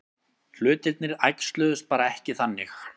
Hlutirnir æxluðust bara ekki þannig.